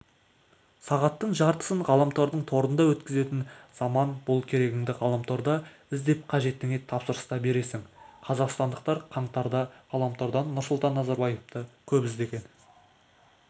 сағаттың жартысын ғаламтордың торында өткізетін заман бұл керегіңді ғаламторда іздеп қажетіңе тапсырыс та бересің қазақстандықтар қаңтарда ғаламтордан нұрсұлтан назарбаевты көп іздеген